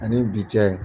Ani bi cɛ